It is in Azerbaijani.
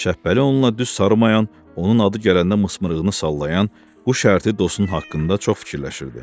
Şəpbəli onunla düz sarımayan, onun adı gələndə mısımrığını sallayan, bu şərti dostu haqqında çox fikirləşirdi.